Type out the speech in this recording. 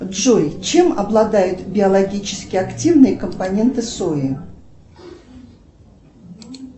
джой чем обладают биологически активные компоненты сои